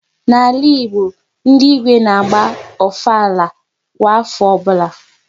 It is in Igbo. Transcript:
N'ala Igbo, ndị Igwe n'agba Ofala kwa afọ ọbụla